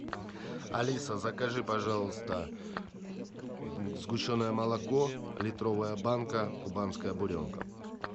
алиса закажи пожалуйста сгущенное молоко литровая банка кубанская буренка